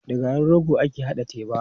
Da garin rogo ake haɗa teba.